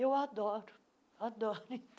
Eu adoro, adoro.